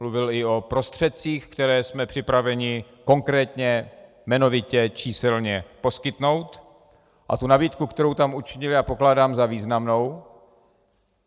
Mluvil i o prostředcích, které jsme připraveni konkrétně, jmenovitě, číselně poskytnout, a tu nabídku, kterou tam učinil, já pokládám za významnou.